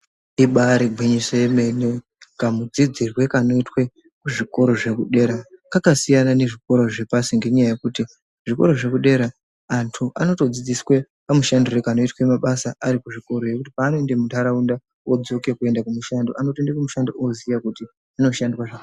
Ibaari gwinyiso yemene kamudzidzirwe kanoitwe kuzvikora zvekudera, kakasiyana nezvikora zvepashi ngenyaya yekuti zvikora zvekudera antu anotodzidziswe kamushandirwe kanoitwe mabasa arikuzvikoreyo kuti paanoenda muntaraunda odzoke kuenda kumushando. Anotoenda kumushando oziya kuti kunoshandwa zvakadini.